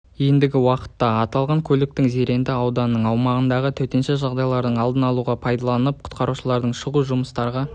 ендігі уақытта аталған көліктің зеренді ауданы аумағындағы төтенше жағдайлардың алдын алуға пайдаланылып құтқарушылардың шұғыл жұмыстарға